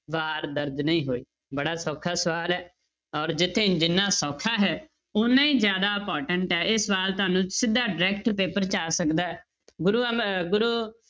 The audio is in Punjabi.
ਵਾਰ ਦਰਜ਼ ਨਹੀਂ ਹੋਈ, ਬੜਾ ਸੌਖਾ ਸਵਾਲ ਹੈ, ਔਰ ਜਿੱਥੇ ਜਿੰਨਾ ਸੌਖਾ ਹੈ, ਓਨਾ ਹੀ ਜ਼ਿਆਦਾ important ਹੈ ਇਹ ਸਵਾਲ ਤੁਹਾਨੂੰ ਸਿੱਧਾ direct paper 'ਚ ਆ ਸਕਦਾ ਹੈ ਗੁਰੂ ਅਮ~ ਗੁਰੂ